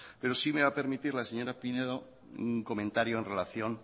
pero sí me va a permitir la señora pinedo un comentario en relación